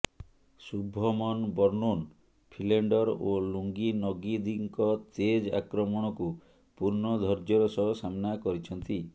Shubman Vernon Philander ଓ Lungi ନଗିଦିଙ୍କ ତେଜ ଆକ୍ରମଣକୁ ପୂର୍ଣ୍ଣ ଧୈର୍ଯ୍ୟର ସହ ସାମ୍ନା କରିଛନ୍ତି